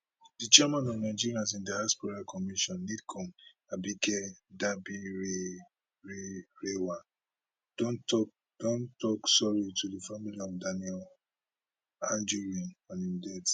di chairman of nigerians in diaspora commission nidcom abike dabiri rerewa don tok don tok sorry to di family of daniel anjorin on im